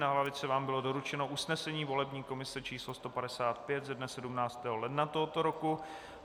Na lavici vám bylo doručeno usnesení volební komise číslo 155 ze dne 17. ledna tohoto roku.